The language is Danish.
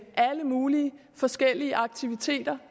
alle mulige forskellige aktiviteter